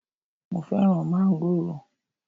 Mo fẹ́ràn mángòrò